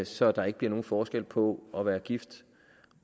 så der ikke bliver nogen forskel på at være gift